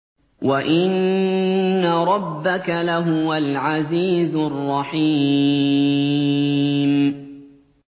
وَإِنَّ رَبَّكَ لَهُوَ الْعَزِيزُ الرَّحِيمُ